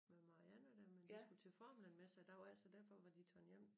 Med Marianne der men de skulle til formlen messe æ dag efter så derfor var de taget hjem